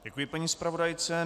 Děkuji paní zpravodajce.